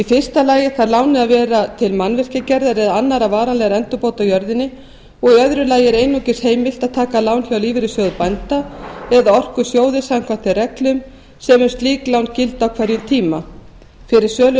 fyrsta lagi þarf lánið að vera til mannvirkjagerðar eða annarra varanlegra endurbóta á jörðinni og í öðru lagi er einungis heimilt að taka lán hjá lífeyrissjóði bænda eða orkusjóði samkvæmt þeim reglum sem um slík lán gilda á hverjum tíma fyrir sölu